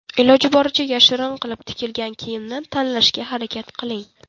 Iloji boricha yashirin qilib tikilgan kiyimni tanlashga harakat qiling.